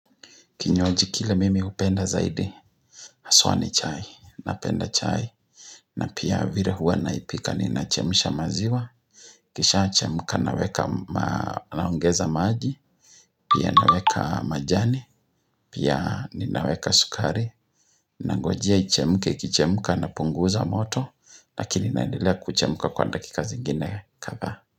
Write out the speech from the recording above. Kinywaji kile mimi hupenda zaidi, haswa ni chai, napenda chai, na pia vire huwa naipika ni nachemisha maziwa Kisha chemka naweka naongeza maji, pia naweka majani, pia ninaweka sukari na ngojia ichemka ikicheuka napunguza moto, lakini naendelea kuchemka kwa dakika zingine kadha.